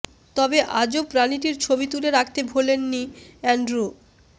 তবে আজব প্রাণীটির ছবি তুলে রাখতে ভোলেননি অ্যান্ড্রু